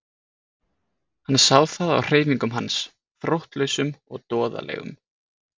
Hann sá það á hreyfingum hans, þróttlausum og doðalegum.